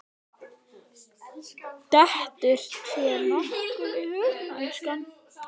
Dettur þér nokkuð í hug, elskan?